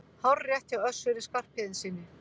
Hárrétt hjá Össuri Skarphéðinssyni!